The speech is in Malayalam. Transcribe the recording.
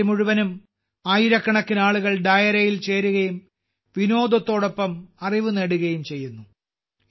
രാത്രി മുഴുവനും ആയിരക്കണക്കിന് ആളുകൾ ഡായരയിൽ ചേരുകയും വിനോദത്തോടൊപ്പം അറിവ് നേടുകയും ചെയ്യുന്നു